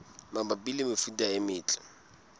mabapi le mefuta e metle